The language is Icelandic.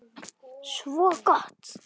Svo gott!